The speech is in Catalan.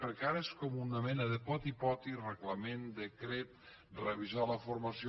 perquè ara és com una mena de poti poti reglament decret revisar la formació